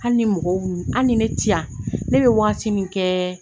Hali ni mɔgɔw, hali ni ne tiyan, ne bɛ waati min kɛ